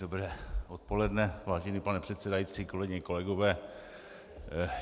Dobré odpoledne, vážený pane předsedající, kolegyně, kolegové.